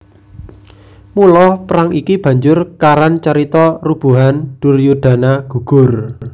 Mula perang iki banjur karan carita Rubuhan Duryudana Gugur